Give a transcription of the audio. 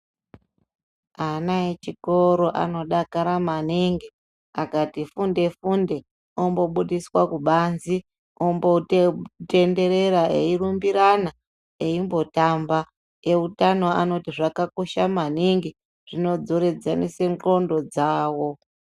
Ana echikoro anodakara maningi. Akati funde funde, ombobudiswa kubanzi, ombotenderera eyirumburana, eyimbotamba. Ewutano anoti zvakakosha maningi zvinodzoredzesanise ndxondo dzawo.